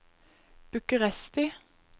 Bucuresti